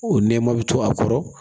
O nɛma bɛ to a kɔrɔ